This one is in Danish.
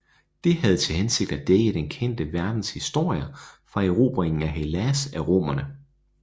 Det havde til hensigt at dække den kendte verdens historie fra erobringen af Hellas af romerne